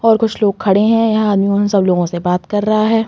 और कुछ लोग खड़े हैं यह आदमी उन सब लोगों से बात कर रहा है।